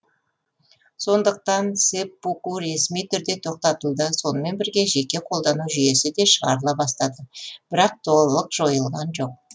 сондықтан сэппуку ресми түрде тоқтатылды сонымен бірге жеке қолдану жүйесі де шығарыла бастады бірақ толық жойылған жоқ